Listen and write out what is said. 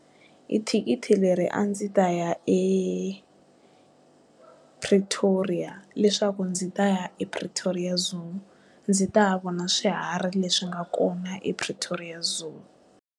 Hi thikithi leri a ndzi ta ya ePretoria leswaku ndzi ta ya ePretoria Zoo ndzi ta ya vona swiharhi leswi nga kona ePretoria Zoo.